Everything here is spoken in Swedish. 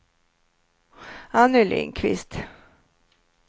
Anny Lindquist